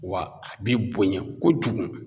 Wa a bi bonya kojugu